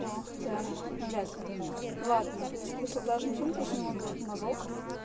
ну а хотя навряд ли ладно смысла даже не в том то что у него берут мазок